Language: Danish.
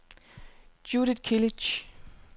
Judith Kilic